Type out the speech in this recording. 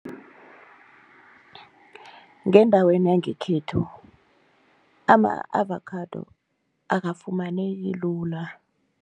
Ngendaweni yangekhethu ama-avakhado akafumaneki lula.